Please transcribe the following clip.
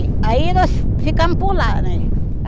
Aí nós ficamos por lá, né?